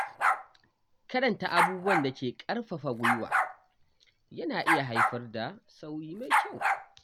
Karanta abubuwan da ke ƙarfafa gwiwa yana iya haifar da sauyi mai kyau.